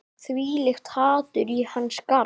Þvílíkt hatur í hans garð